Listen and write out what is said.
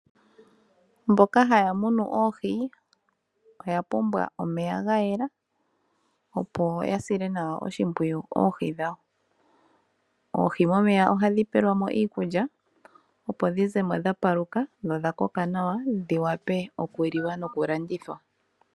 Mboka haya munu oohi oya pumbwa omeya ga yela nawa, opo ya sile nawa oohi dhawo oshimpwiyu. Oohi momeya ohadhi pewelwa mo iikulya opo dhi zemo dha paluka nodha koka nawa dhi vule oku liwa noku landithwa.